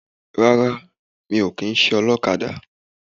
Rárá mi ò kìíse olókadà